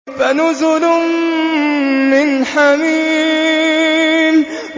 فَنُزُلٌ مِّنْ حَمِيمٍ